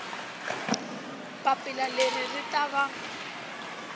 papila leri ri ta va